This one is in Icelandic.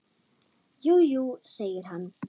Jú, jú, segir hann.